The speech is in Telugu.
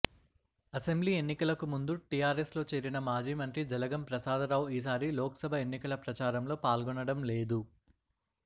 అసెంబ్లీ ఎన్నికలకు ముందు టీఆర్ఎస్లో చేరిన మాజీ మంత్రి జలగం ప్రసాదరావు ఈసారి లోక్సభ ఎన్నికల ప్రచారంలో పాల్గొనడం లేదు